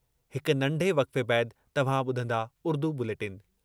हिक नंढे वक़्फ़े बैदि तव्हां ॿुधंदा उर्दू बुलेटिन।